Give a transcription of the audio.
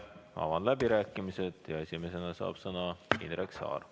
Avan läbirääkimised ja esimesena saab sõna Indrek Saar.